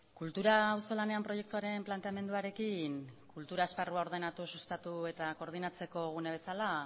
kultura auzolanean proiektuaren planteamenduarekin kultura esparrua ordenatu sustatu eta koordinatzeko gune bezala